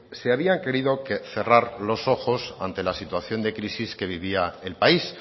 se había querido cerrar los ojos ante la situación de crisis que vivía el país